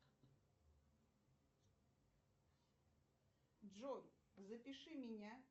джой запиши меня